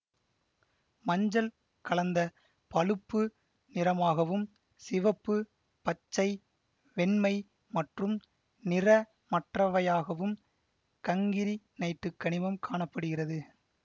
மஞ்சள் கலந்த பழுப்பு நிறமாகவும் சிவப்பு பச்சை வெண்மை மற்றும் நிறமற்றவையாகவும் கங்கிரினைட்டு கனிமம் காண படுகிறது